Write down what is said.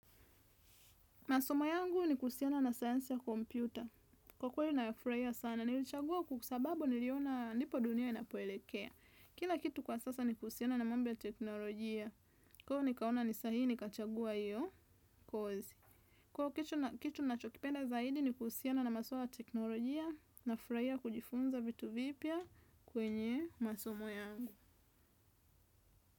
Masomo yangu ni kuhusiana na science ya kompyuta. Kwa kweli nayafurahia sana, nilichagua kwa sababu niliona ndipo dunia inapoelekea. Kila kitu kwa sasa ni kuhusiana na mambo ya teknolojia. Kwahiyo nikaona ni sahihi nikachagua hiyo kozi. Kwahiyo kitu nachokipenda zaidi ni kuhusiana na maswala ya teknolojia nafurahia kujifunza vitu vipya kwenye masomo yangu.